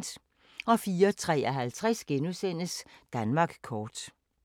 04:53: Danmark kort *